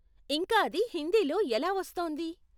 ఇంకా అది హిందీలో ఎలా వస్తోంది?